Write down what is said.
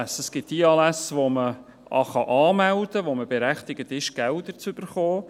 Es gibt die Anlässe, die man anmelden kann, bei denen man berechtigt ist, Gelder zu erhalten.